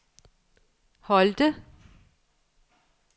Holte